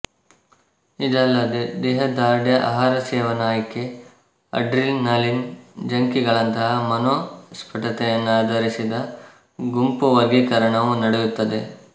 ಇದಲ್ಲದೇ ದೇಹದಾರ್ಢ್ಯ ಆಹಾರಸೇವನಾ ಆಯ್ಕೆ ಅಡ್ರಿನಲಿನ್ ಜಂಕೀಗಳಂತಹ ಮನೋಸ್ಫುಟತೆಯನ್ನಾಧರಿಸಿದ ಗುಂಪುವರ್ಗೀಕರಣವೂ ನಡೆಯುತ್ತದೆ